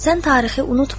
Sən tarixi unutma.